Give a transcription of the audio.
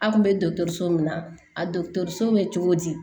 A kun bɛ dɔgɔtɔrɔso min na a dɔgɔtɔrɔso bɛ cogo di